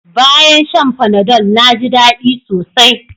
Bayan shan Panadol na ji daɗi sosai